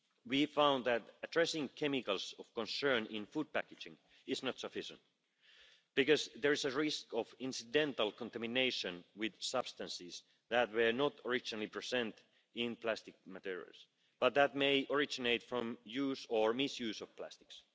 We found that addressing chemicals of concern in food packaging is not sufficient, because there is a risk of incidental contamination with substances that were not originally present in plastic materials but may originate from use or mis use of plastics.